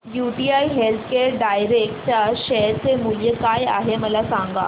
UTI healthcare direct च्या share चे मूल्य काय आहे मला सांगा